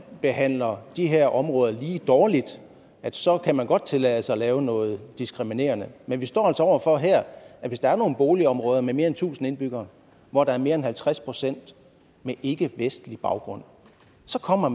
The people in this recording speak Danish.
behandler de her områder lige dårligt så kan man godt tillade sig at lave noget diskriminerende men vi står altså over for her at hvis der er nogle boligområder med mere end tusind indbyggere hvor der er mere end halvtreds procent med ikkevestlig baggrund så kommer